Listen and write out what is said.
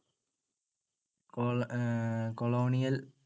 colonial